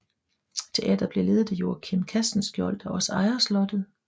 Teatret bliver ledet af Joachim Castenschiold der også ejer slottet